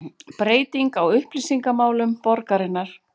Breyting á upplýsingamálum borgarinnar